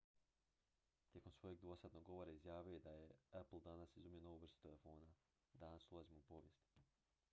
"tijekom svojeg dvosatnog govora izjavio je da je "apple danas izumio novu vrstu telefona. danas ulazimo u povijest"".